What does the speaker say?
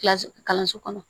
Kilasi kalanso kɔnɔ